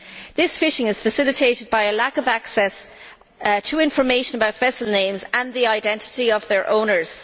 This fishing is facilitated by a lack of access to information about vessel names and the identity of their owners.